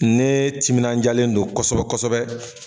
Nee timinanjalen don kosɛbɛ kosɛbɛ